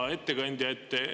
Hea ettekandja!